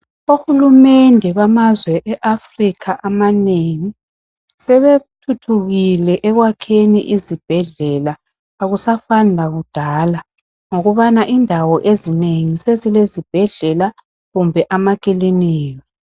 OHulumende bamazwe eAfrica amanengi sebethuthukile ekwakheni izibhedlela akusafani lakudala ngokubana indawo ezinengi sezilezibhedlela kumbe ama kilinika